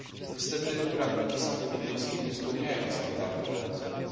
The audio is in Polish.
Niestety praktyki sądów indyjskich nie spełniają standardów ONZ u.